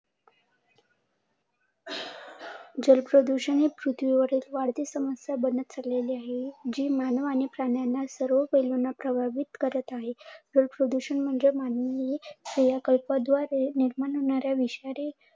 जल प्रदूषण हे पृथ्वी वरील वाढती समस्या बनत चाललेले आहे. जी मानव आणि प्राण्यांना प्रभावित करत आहे. प्रदूषण म्हणजे प्रभावित होणाऱ्या विषारी